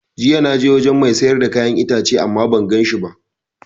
Jiya na je wajen mai siyar da kayan itace ama ban ganshi ba